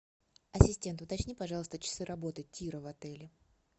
ассистент уточни пожалуйста часы работы тира в отеле